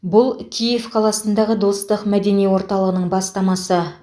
бұл киев қаласындағы достық мәдени орталығының бастамасы